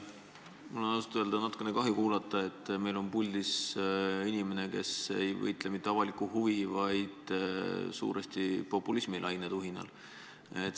Mul on ausalt öeldes natukene kahju kuulata, et meil on puldis inimene, kes ei võitle mitte avaliku huvi nimel, vaid suuresti populismilaine tuhinal.